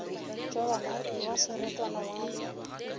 jobana wa serotwana wa go